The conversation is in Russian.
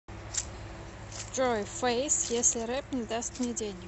джой фэйс если рэп не даст мне денег